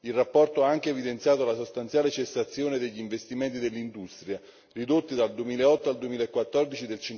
Il rapporto ha anche evidenziato la sostanziale cessazione degli investimenti dell'industria, ridotti dal 2008 al 2014